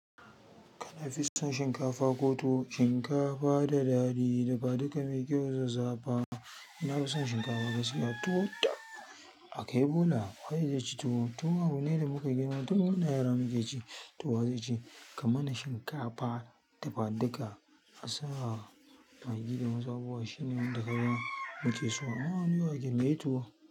Kana fi son shinkafa ko tuwo? Shinkafa da daɗi, dafaduka mai kyau zazzafa na fi son shinkafa gaskiya. Tuwo tab a kai bola waye zaici tuwo. Tuwo abu ne da muka girma, tun muna yara muke ci to wa zai ci. Kaman shinkafa, dafadika, asa, maggi da ma zabuwa shine wanda kayan muke so. A'a ni wake mai tuwo.